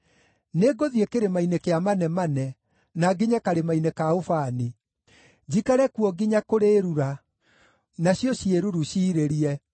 Nĩngũthiĩ kĩrĩma-inĩ kĩa manemane, na nginye karĩma-inĩ ka ũbani, njikare kuo nginya kũrĩĩrura, nacio ciĩruru ciirĩrie.